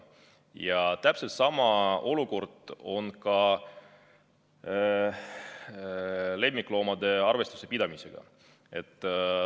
Ja täpselt sama olukord on ka lemmikloomade arvestuse pidamisega.